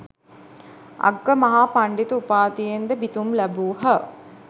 අග්ගමහා පණ්ඩිත උපාධියෙන්ද පිදුම් ලැබූහ.